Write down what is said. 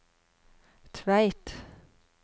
Tveit